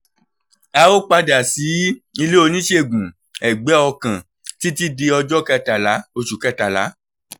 a ò padà sí ilé oníṣègùn-ẹ̀gbẹ́ ọkàn títí di ọjọ́ kẹtàlá oṣù kẹtàlá